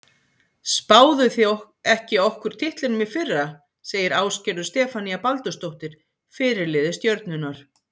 Spáðuð þið ekki okkur titlinum í fyrra? segir Ásgerður Stefanía Baldursdóttir, fyrirliði Stjörnunnar.